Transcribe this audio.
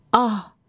Səlim!